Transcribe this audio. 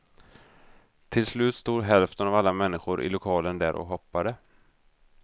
Till slut stod hälften av alla människor i lokalen där och hoppade.